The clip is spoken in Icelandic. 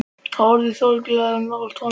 Það er orðið þolanlegra að vera nálægt honum.